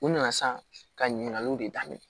U nana san ka ɲininkaliw de daminɛ